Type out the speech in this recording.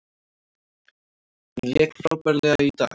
Hann lék frábærlega í dag.